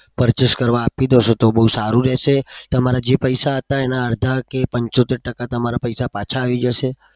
purchase કરવા આપી દો છો તો બઉ સારું રેસે તમારા જે પૈસા હતા એનાં અડધા કે પંચોતેર ટકા પૈસા તમારા પૈસા પાછા આવી જશે.